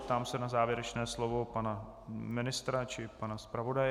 Ptám se na závěrečné slovo pana ministra či pana zpravodaje.